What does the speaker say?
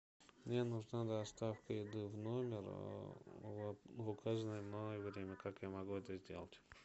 мне нужна доставка еды в номер в указанное мною время как я могу это сделать